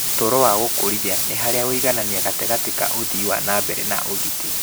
"Ũtũũru wa gũkũrithia nĩ harĩa ũngĩiganania gatagatĩ ka ũthii wa na mbere na ũgitĩri."